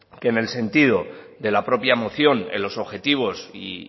que en el sentido de la propia moción en los objetivos y